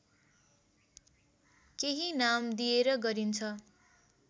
केही नाम दिएर गरिन्छ